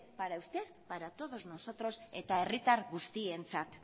para usted y para todos nosotros eta herritar guztientzat